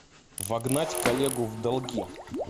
вогнать коллегу в долги